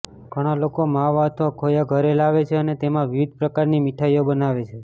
ઘણા લોકો માવા અથવા ખોયા ઘરે લાવે છે અને તેમાં વિવિધ પ્રકારની મીઠાઈઓ બનાવે છે